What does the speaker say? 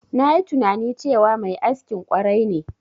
Nayi tunani cewa mai askin ƙwarai ne.